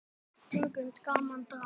Tegund: Gaman, Drama